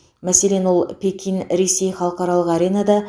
мәселен ол пекин ресей халықаралық аренада